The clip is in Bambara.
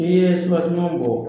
I yɛ bɔ